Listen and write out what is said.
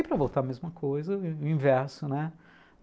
E para voltar a mesma coisa, o inverso, né?